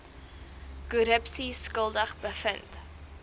korrupsie skuldig bevind